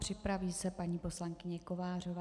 Připraví se paní poslankyně Kovářová.